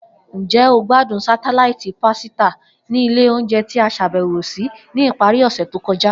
Njẹ o gbadun satelaiti pasita ni ile ounjẹ ti a ṣabẹwo si ni ipari ose to kọja?